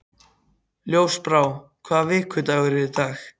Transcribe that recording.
Ljósbrá, hvaða vikudagur er í dag?